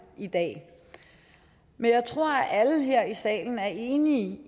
i dag men jeg tror at alle her i salen er enige